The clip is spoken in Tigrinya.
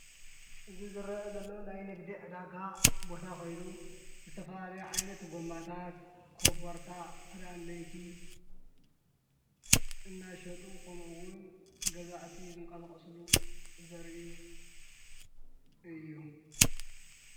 እዚ ዝረኣ ዘሎ ናይ ንግዲ ዕዳጋ ቦታ ኮይኑ ዝተፈላለየ ዓይነት ጎማታት፣ ኮበርታ ፣ክዳን ለይቲ እናሸጡ ከምኡ እውን ገዛእቲ ዝንቀሳቅስሉ ዘርኢ እዩ።